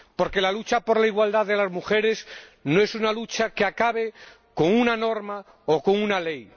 Porque la lucha por la igualdad de las mujeres no es una lucha que acabe con una norma o con una ley.